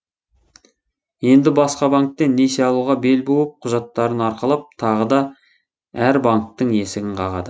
енді басқа банктен несие алуға бел буып құжаттарын арқалап тағы да әр банктің есігін қағады